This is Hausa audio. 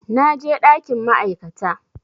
Na je ɗakin ma'aikata